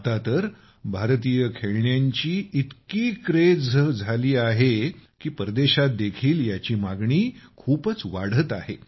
आता तर भारतीय खेळण्यांची इतकी क्रेझ झाली आहे की परदेशात देखील याची मागणी खूपच वाढत आहे